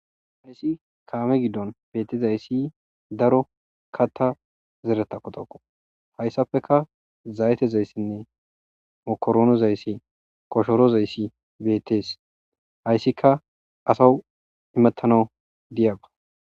hayssi kaame giddon betezayssi daro katta zereta kotokko hayssapeka zaytezayssinne mokoronozayssi koshorozayssi beettees hayssika asaw imettanau diyaba